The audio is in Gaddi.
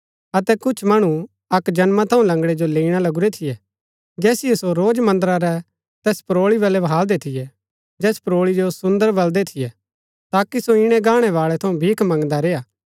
अतै कुछ मणु अक्क जन्मा थऊँ लंगड़ै जो लैईणा लगुरै थियै जैसिओ सो रोज मन्दरा रै तैस परोळी वलै बहालदै थियै जैस परोळी जो सुन्दर बलदै थियै ताकि सो ईणै गाणै बाळै थऊँ भीख मंगदा रेय्आ